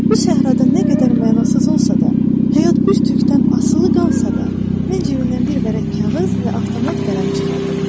Bu səhrada nə qədər mənasız olsa da, həyat bir tükdən asılı qalsa da, mən cibimdən bir vərəq kağız və avtomat qələm çıxardım.